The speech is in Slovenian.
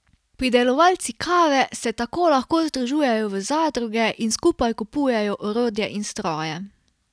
Pridelovalci kave se tako lahko združujejo v zadruge in skupaj kupujejo orodje in stroje.